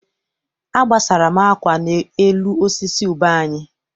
Agbasara m akwa m n'elu osisi ube anyị.